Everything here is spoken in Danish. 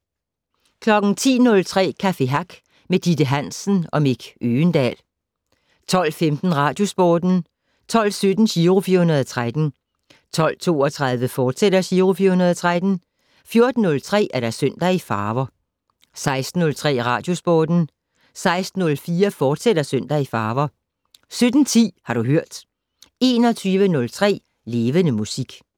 10:03: Café Hack med Ditte Hansen og Mick Øgendahl 12:15: Radiosporten 12:17: Giro 413 12:32: Giro 413, fortsat 14:03: Søndag i farver 16:03: Radiosporten 16:04: Søndag i farver, fortsat 17:10: Har du hørt 21:03: Levende Musik